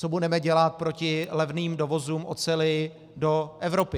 Co budeme dělat proti levným dovozům oceli do Evropy?